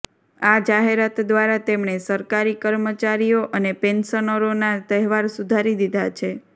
આ જાહેરાત દ્વારા તેમણે સરકારી કર્મચારીઓ અને પેન્શનરોના તહેવાર સુધારી દીધા છે